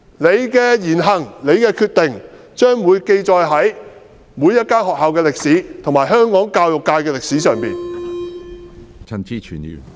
老師的言行和決定將會記載在每所學校和香港教育界的歷史上。